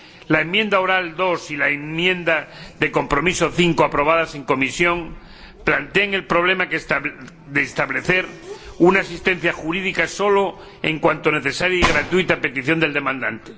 La enmienda oral 2 y la enmienda de transacción 5, aprobadas en comisión, plantean el problema de establecer una asistencia jurídica solo en cuanto necesaria y gratuita, a petición del demandante.